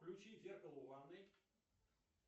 включи зеркало в ванной